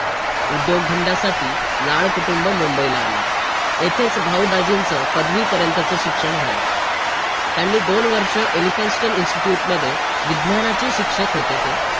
आता जिथे आपला फायदा असतो तिथे तर